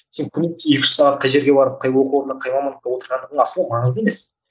сен күні екі үш сағат қай жерге барып қай оқу орнына қай мамандықта отырғаның асылы маңызды емес